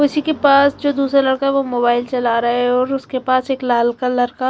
उसी के पास जो दुसरा लड़का है वो मोबाइल चला रहा है और उसके पास एक लाल कलर का--